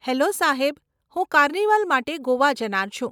Hello સાહેબ, હું carnival માટે ગોવા જનાર છું.